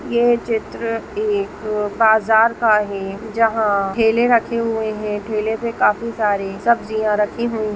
यह चित्र एक बाजार का है जहाँ ठेले रखे हुई है ठेले पे काफी सारे सब्जियां रखी हुई--